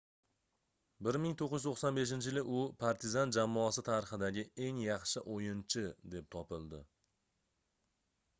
1995-yili u partizan jamoasi tarixidagi eng yaxshi oʻyinchi deb topildi